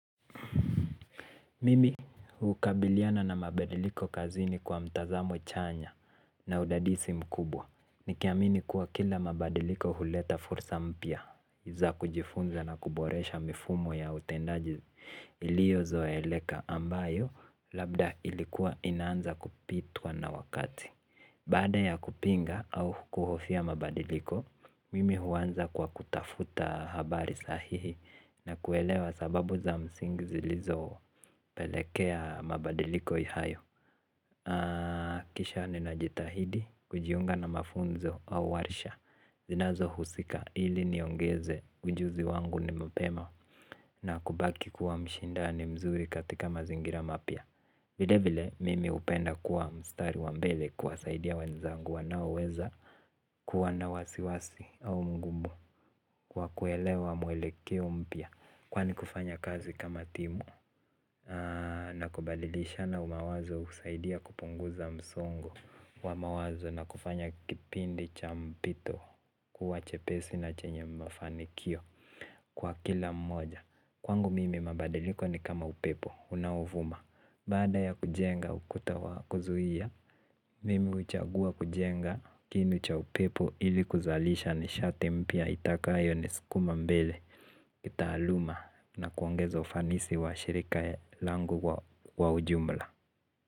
Mimi hukabiliana na mabadiliko kazini kwa mtazamo chanya na udadisi mkubwa. Nikiamini kuwa kila mabadiliko huleta fursa mpya za kujifunza na kuboresha mifumo ya utendaji ilio zoeleka ambayo labda ilikuwa inaanza kupitwa na wakati. Baada ya kupinga au kuhofia mabadiliko, mimi huanza kwa kutafuta habari sahihi na kuelewa sababu za msingi zilizoo pelekea mabadiliko ihayo. Kisha ninajitahidi, kujiunga na mafunzo au warsha, zinazohusika ili niongeze ujuzi wangu ni mapema na kubaki kuwa mshindani mzuri katika mazingira mapya. Vile vile mimi upenda kuwa mstari wa mbele kuwasaidia wenzangu wanaoweza kuwa na wasiwasi au mgumu. Kwa kuelewa mwelekeo mpya kwani kufanya kazi kama timu. Na kubadilishana umawazo usaidia kupunguza msongo wa mawazo na kufanya kipindi cha mpito kuwa chepesi na chenye mafanikio kwa kila mmoja. Kwangu mimi mabadiliko ni kama upepo unaovuma. Baada ya kujenga ukuta wa kuzuhia, mimi uchagua kujenga kinu cha upepo ili kuzalisha nishati mpya itakayo ni sikuma mbele kitaaluma na kuongezo ufanisi wa shirika langu kwa ujumla.